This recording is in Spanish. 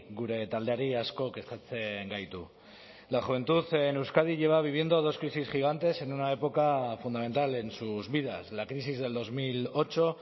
gure taldeari asko kezkatzen gaitu la juventud en euskadi lleva viviendo dos crisis gigantes en una época fundamental en sus vidas la crisis del dos mil ocho